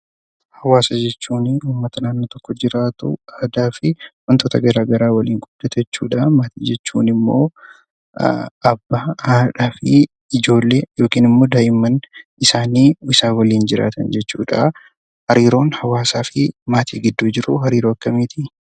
Hawaasa jechuun uummata naannoo tokko jiraatu aadaa fi wantoota garaagaraa waliin qooddatu jechuudha maatiin immoo abbaa, haadhaa fi ijoolee yookiin daa'imman isaanii isaan waliin jiraatan jechuudha. Hariiroon maatii fi hawaasa gidduu jiru hariiroo akkamiiti?